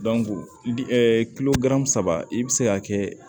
kilo gan saba i bi se ka kɛ